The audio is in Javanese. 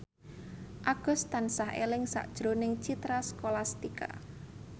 Agus tansah eling sakjroning Citra Scholastika